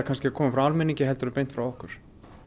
að koma frá almenningi en frá okkur